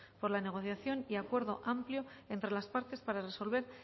por la negociación y acuerdo amplio entre las partes para resolver